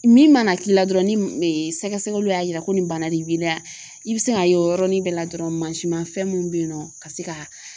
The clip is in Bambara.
Min mana k'i la dɔrɔn ni e sɛgɛsɛgɛliw y'a yira ko nin bana de b'i la i bi se ka ye o yɔrɔnin bɛɛ la dɔrɔn mansinmafɛn min bɛ yen nɔ ka se ka